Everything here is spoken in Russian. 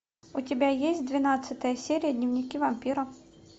у тебя есть двенадцатая серия дневники вампира